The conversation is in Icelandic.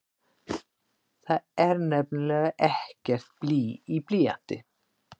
Það er nefnilega ekkert blý í blýanti!